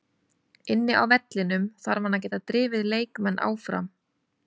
Inni á vellinum þarf hann að geta drifið leikmenn áfram.